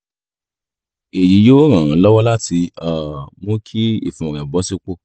èyí yóò ràn án lọ́wọ́ láti um mú kí ìfun rẹ̀ bọ sípò